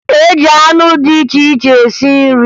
E ji anụ dị iche iche esi nri